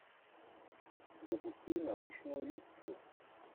запусти научную лекцию